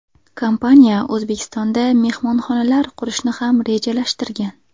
Kompaniya O‘zbekistonda mehmonxonalar qurishni ham rejalashtirgan.